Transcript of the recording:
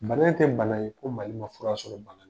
Bana in tɛ bana ye ko Mali ma fura sɔrɔ bana